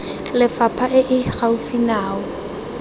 lefapha e e gaufi nao